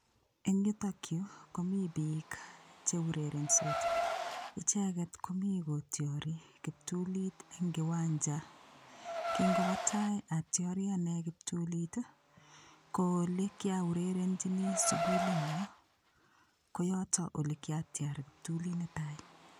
Eng' yutokyu komi biik cheurerensot icheget komi kotyori kiptulit eng' kiwanja kingobo tai atyori ane kiptulit ko ole kiaurerenjini sukulinyo ko yoto ole kiatyar kiptulit netai